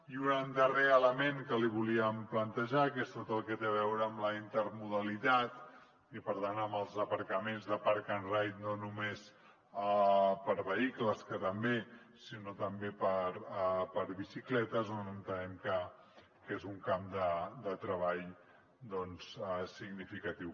i un darrer element que li volíem plantejar que és tot el que té a veure amb la intermodalitat i per tant amb els aparcaments de park ride no només per a vehicles que també sinó també per a bicicletes on entenem que és un camp de treball doncs significatiu